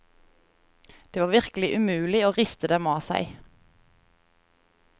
Det var virkelig umulig å riste dem av seg.